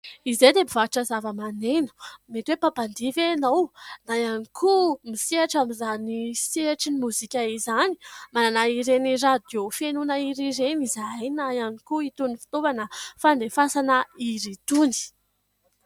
Izahay dia mpivarotra zava-maneno. Mety hoe mpampandihy ve ianao na ihany koa misehatra amin'izany sehatrin'ny mozika izany ? Manana ireny radiô fihainoana hira ireny izahay na ihany koa itony fitaovana fandefasana hira itony.